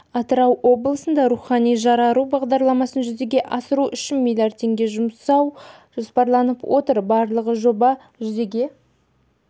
атырау облысында рухани жарару бағдарламасын жүзеге асыру үшін миллиард теңге жұмсау жоспарланып отыр барлығы жоба жүзеге